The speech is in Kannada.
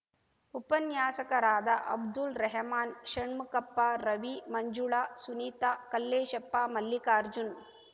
ಉಪನ್ಯಾಸಕರಾದ ಅಬ್ದುಲ್‌ ರೆಹಮಾನ್‌ ಷಣ್ಮುಖಪ್ಪ ರವಿ ಮಂಜುಳಾ ಸುನೀತಾ ಕಲ್ಲೇಶಪ್ಪ ಮಲ್ಲಿಕಾರ್ಜುನ್‌